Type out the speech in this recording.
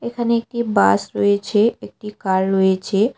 এখানে একটি বাস রয়েছে একটি কার রয়েছে।